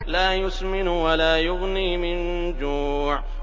لَّا يُسْمِنُ وَلَا يُغْنِي مِن جُوعٍ